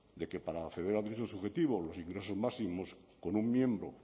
que para acceder al derecho subjetivo los ingresos máximos por un miembro